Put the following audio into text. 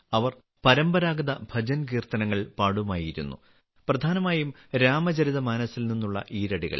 അവർ പരമ്പരാഗത ഭജൻകീർത്തനങ്ങൾ പാടുമായിരുന്നു പ്രധാനമായും രാമചരിതമാനസിൽ നിന്നുള്ള ഈരടികൾ